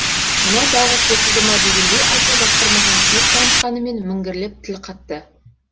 мынау тағы қосылды ма дегендей аса жақтырмаған кейіп танытқанымен міңгірлеп тіл қатты